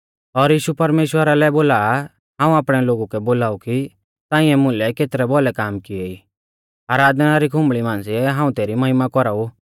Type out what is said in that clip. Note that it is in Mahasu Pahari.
और यीशु परमेश्‍वरा लै बोला आ हाऊं आपणै लोगु कै बोलाऊ कि ताऐं मुलै केतरै भौलै काम किऐ ई आराधना री खुंबल़ी मांझ़िऐ हाऊं तेरी महिमा कौराऊ